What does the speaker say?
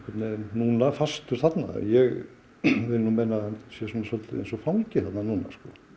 núna fastur þarna ég vil meina að hann er eins og fangi þarna núna